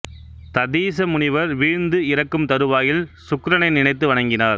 ததீச முனிவர் வீழ்ந்து இறக்கும் தருவாயில் சுக்கிரனை நினைத்து வணங்கினார்